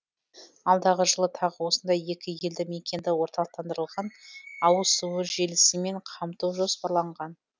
алдағы жылы тағы осындай екі елді мекенді орталықтандырылған ауыз су желісімен қамту жоспарланған